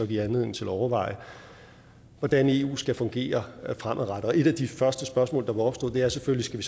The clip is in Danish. give anledning til at overveje hvordan eu skal fungere fremadrettet et af de første spørgsmål der opstod er selvfølgelig